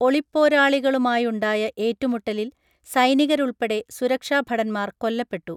ഒളിപ്പോരാളികളുമായുണ്ടായ ഏറ്റുമുട്ടലിൽ സൈനികരുൾപ്പടെ സുരക്ഷാഭടൻന്മാർ കൊല്ലപ്പെട്ടു